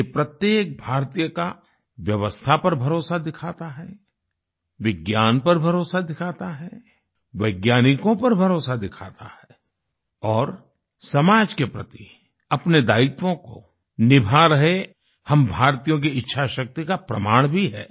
ये प्रत्येक भारतीय का व्यवस्था पर भरोसा दिखाता है विज्ञान पर भरोसा दिखाता है वैज्ञानिकों पर भरोसा दिखाता है और समाज के प्रति अपने दायित्वों को निभा रहे हम भारतीयों की इच्छाशक्ति का प्रमाण भी है